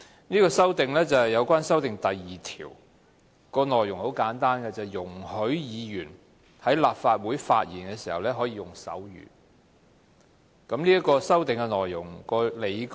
這項修訂是關於《議事規則》第2條，容許議員在立法會發言時可以用手語，我稍後會詳述這項修訂的理據。